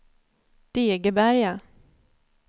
Degeberga